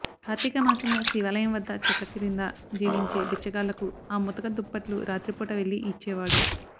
కార్తీక మాసంలో శివాలయం వద్ద చెట్ల క్రింద జీవించే బిచ్చగాళ్లకు ఆ ముతక దుప్పట్లు రాత్రిపూట వెళ్లి ఇచ్చేవాడు